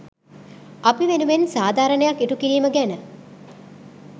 අපි වෙනුවෙන් සාධාරණයක් ඉටු කිරීම ගැන.